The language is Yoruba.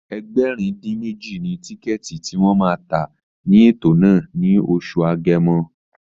Ẹgbẹ̀rin-dín-méjì ni tíkẹ̀ẹ̀tì tí wọ́n ma tà ní ètò náà ní oṣù Agẹmọ